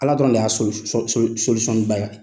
Ala dɔrɔn de y'a ye.